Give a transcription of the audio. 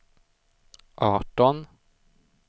arton